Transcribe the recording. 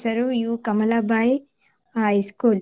U Kamala Bai High School .